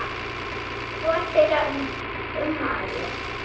Hvor þeirra á ummælin?